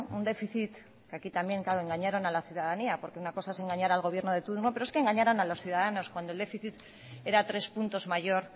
un déficit que aquí también engañaron a la ciudadanía porque una cosa es engañar al gobierno de turno pero engañaron a los ciudadanos cuando el déficit era tres puntos mayor